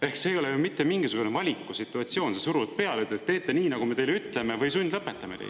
Ehk see ei ole ju mitte mingisugune valiku situatsioon, kui suruda peale: "Te teete nii, nagu me teile ütleme, või sundlõpetame teid."